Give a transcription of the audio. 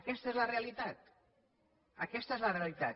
aquesta és la realitat aquesta és la realitat